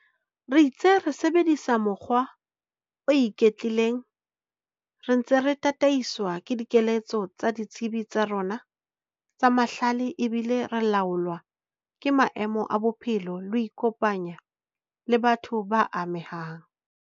Re itse re sebedisa mokgwa o iketlileng re ntse re tataiswa ke dikeletso tsa ditsebi tsa rona tsa mahlale ebile re laolwa ke maemo a bophelo le ho ikopanya le batho ba amehang.